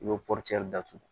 I bɛ datugu